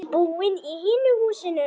Ertu búinn í hinu húsinu?